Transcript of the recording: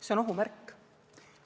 See on ohu märk.